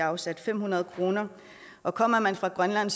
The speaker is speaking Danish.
afsat fem hundrede kr og kommer man fra grønland